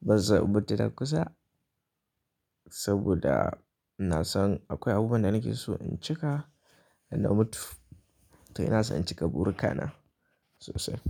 Ban san imutu nankusa saboda ina san akwai abubuwan da nake so in cika da na mutu. To ina so in cika burkana sosai.